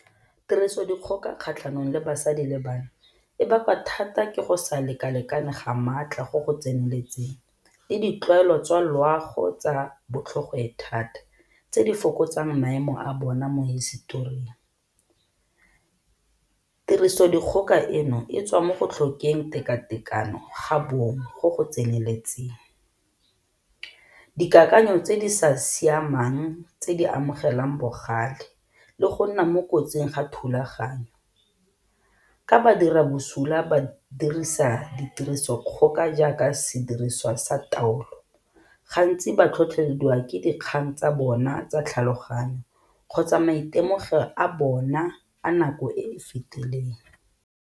Tirisodikgoka kgatlhanong le basadi le bana e bakwa thata ke go sa leka-lekane ga maatla go go tseneletseng le ditlwaelo tsa loago tsa bo tlhogoethata tse di fokotsang maemo a bona mo hisetoring. Tirisodikgoka eno e tswa mo go tlhokeng teka-tekano ga bong go go tseneletseng, dikakanyo tse di sa siamang tse di amogelang bogale le go nna mo kotsing ga thulaganyo, ka badirabosula ba dirisa ditiriso dikgoka jaaka sediriswa sa taolo gantsi ba tlhotlhelediwa ke dikgang tsa bona tsa tlhaloganyo kgotsa maitemogelo a bona a nako e e fetileng.